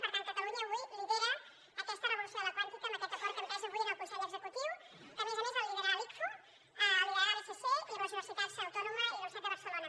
i per tant catalunya avui lidera aquesta revolució de la quàntica amb aquest acord que hem pres avui en el consell executiu que a més a més el liderarà l’icfo el liderarà l’icc i amb la universitat autònoma i la universitat de barcelona